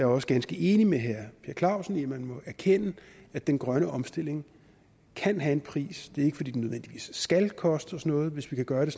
også ganske enig med herre per clausen i at man må erkende at den grønne omstilling kan have en pris det er ikke fordi den nødvendigvis skal koste os noget hvis vi kan gøre det